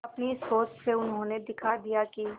अपनी सोच से उन्होंने दिखा दिया कि